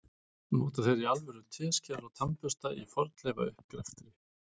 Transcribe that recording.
Nota þeir í alvöru teskeiðar og tannbursta í fornleifauppgreftri?